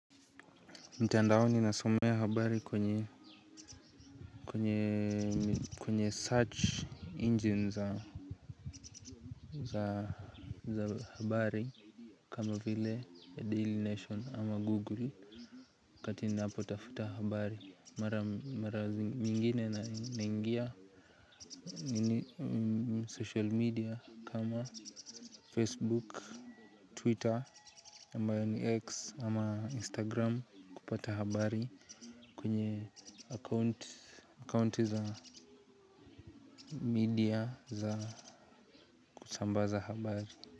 Mtandaoni nasomea habari kwenye kwenye search engine za za habari, kama vile ya daily nation, ama google. Akati ninapotafuta habari mara zingine naingia. Ni social media kama facebook, twitter ambayo ni x ama instagram kupata habari. Kwenye account za media za kutambaza habari.